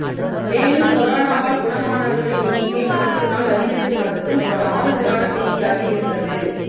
மேலும் கொரோனாவால் குணமாணவர்களின் எண்ணிக்கை நாளுக்கு நாள் அதிகரித்து வந்ததும் ஒரு ஆறுதலான செய்தியாக இருந்தது